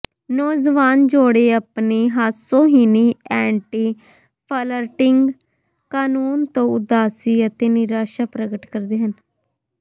ਨੌਜਵਾਨ ਜੋੜੇ ਆਪਣੀ ਹਾਸੋਹੀਣੀ ਐਂਟੀ ਫਲਰਟਿੰਗ ਕਾਨੂੰਨ ਤੋਂ ਉਦਾਸੀ ਅਤੇ ਨਿਰਾਸ਼ਾ ਪ੍ਰਗਟ ਕਰਦੇ ਹਨ